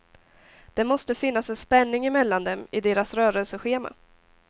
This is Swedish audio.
Det måste finnas en spänning emellan dem, i deras rörelseschema.